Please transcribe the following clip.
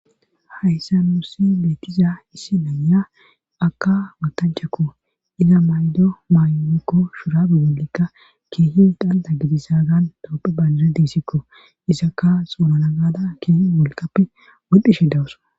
Hayssa nuussi beetiza issi naya aka watanchakko iza maydo maydokko shurabi golikka keehi danda gidisa gan tooppe banjire diisikko isakka xoolana gada keeh wolqappe wadhdhishe dawussa